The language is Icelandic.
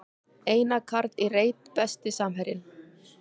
Einar Karl í reit Besti samherjinn?